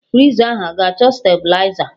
Friza ahụ a-ga achọ stabiliza?